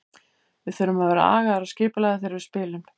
Við þurfum að vera agaðir og skipulagðir þegar við spilum.